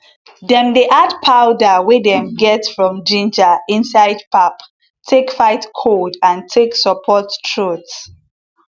dem dey add powder wey dem get from ginger inside pap take fight cold and take support throat